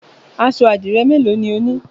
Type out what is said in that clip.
Aṣọ àdìrẹ́ mélòó ni o ní?